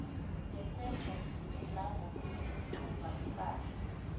ngesetjho nangokuthumba ipahla